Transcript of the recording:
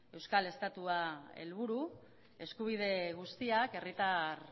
eta euskal estatua helburu eskubide guztiak herritar